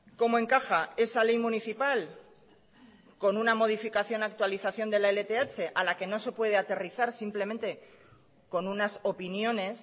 cómo encaja esa ley municipal con una modificación actualización de la lth a la que no se puede aterrizar simplemente con unas opiniones